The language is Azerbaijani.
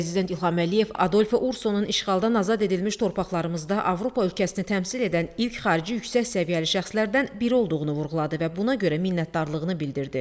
Prezident İlham Əliyev Adolfo Ursonun işğaldan azad edilmiş torpaqlarımızda Avropa ölkəsini təmsil edən ilk xarici yüksək səviyyəli şəxslərdən biri olduğunu vurğuladı və buna görə minnətdarlığını bildirdi.